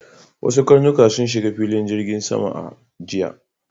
Wasu karnuka sun shiga filin jirgin sama a jiya.